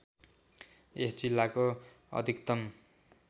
यस जिल्लाको अधिकतम